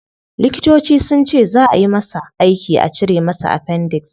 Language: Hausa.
Likitoci sunce zaa ayi masa aiki a cire masa appendix